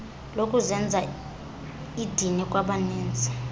lokuzenza idini kwabaninzi